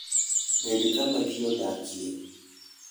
Bed kama ji odakie.